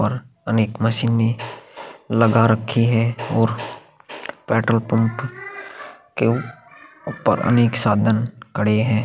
और अनेक मशीने लगा रखी है और पेट्रोल पंप के उपर अनेक साधन खड़े है।